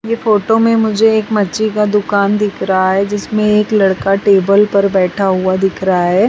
ये फोटो में मुझे एक मच्छी का दुकान दिख रहा है जिसमें एक लड़का टेबल पर बैठा हुआ दिख रहा है।